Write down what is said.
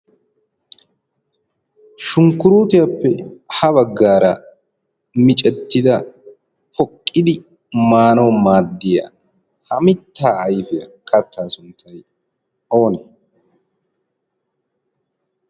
Shunkuruutiyappe ha baggaara micettida poqqidi maanaw maaddiya ha mittaa ayfe kattaa sunttay oonee?